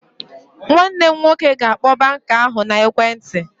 Nwanne m nwoke ga-akpọ banka ahụ n'ekwentị